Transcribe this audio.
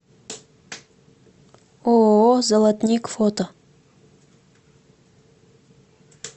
ооо золотник фото